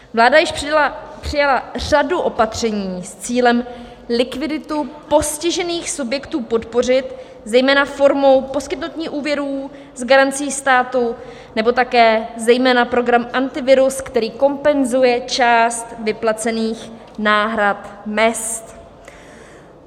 Vláda již přijala řadu opatření s cílem likviditu postižených subjektů podpořit, zejména formou poskytnutí úvěrů s garancí státu, nebo také zejména program Antivirus, který kompenzuje část vyplacených náhrad mezd.